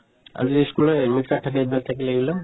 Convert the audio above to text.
আৰু এই ই school ৰ admit card থাকে এইবিলাক থাকিলে এইবিলাক